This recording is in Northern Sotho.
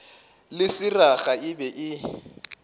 le seraga e be e